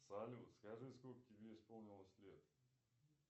салют скажи сколько тебе исполнилось лет